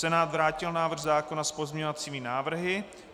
Senát vrátil návrh zákona s pozměňovacími návrhy.